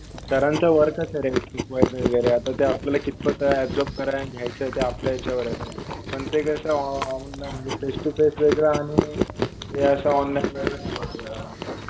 सरांचं वर्कच आहे रे शिकवायचं वगैरे. आता ते आपलायला कितपत अब्जोर्रब करायचं, घ्यायचं ते आपल्या याच्यावर आहे. पण ते कसं फेस टु फेस वेगळं आणि हे असं ऑनलाईन वेगळं पडतं.